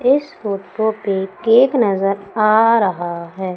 इस फोटो पे केक नजर आ रहा है।